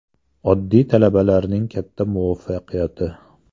Oddiy talabalarning katta muvaffaqiyati.